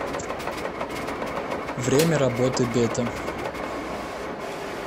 время работы бета